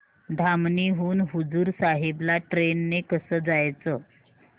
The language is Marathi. धामणी हून हुजूर साहेब ला ट्रेन ने कसं जायचं